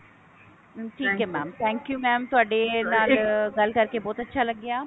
ਠੀਕ ਹੈ mam thank you mam ਤੁਹਾਡੇ ਨਾਲ ਗੱਲ ਕਰਕੇ ਬਹੁਤ ਅੱਛਾ ਲੱਗਿਆ